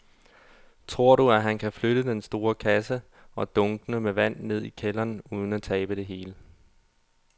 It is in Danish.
Tror du, at han kan flytte den store kasse og dunkene med vand ned i kælderen uden at tabe det hele?